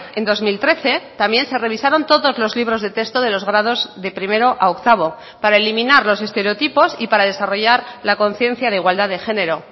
en dos mil trece también se revisaron todos los libros de texto de los grados de primero a octavo para eliminar los estereotipos y para desarrollar la conciencia de igualdad de género